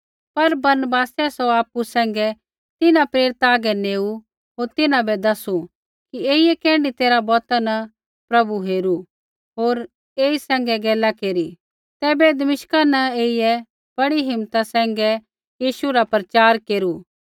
पर बरनबासै सौ आपु सैंघै तिन्हां प्रेरिता आगै नेऊ होर तिन्हां बै दैसू कि ऐईयै कैण्ढी तैरहा बौता न प्रभु हेरू होर ऐई सैंघै गैला केरी तैबै दमिश्का न ऐईयै बड़ी हिम्मता सैंघै यीशु रा प्रचार केरू